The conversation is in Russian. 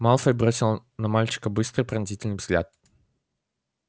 малфой бросил на мальчика быстрый пронзительный взгляд